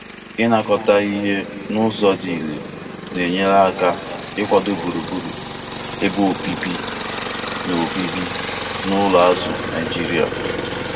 inakọta ihe n'ụzọ dị ire na-enyere aka ikwado gburugburu ebe obibi na obibi na ụlọ azụ Naijiria.